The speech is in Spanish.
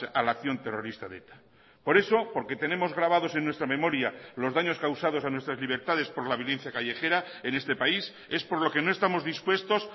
a la acción terrorista de eta por eso porque tenemos grabados en nuestra memoria los daños causados a nuestras libertades por la violencia callejera en este país es por lo que no estamos dispuestos